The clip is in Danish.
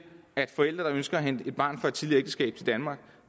at forældre der ønsker at hente et barn fra et tidligere ægteskab til danmark